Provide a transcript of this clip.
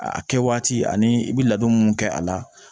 A kɛ waati ani i bɛ ladon mun kɛ a la